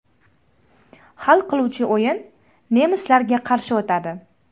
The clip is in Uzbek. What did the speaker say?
Hal qiluvchi o‘yin nemislarga qarshi o‘tadi.